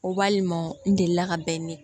O walima n delila ka bɛn ni